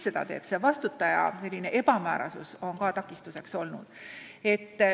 Selle eest vastutaja ebamäärasus on ka takistuseks olnud.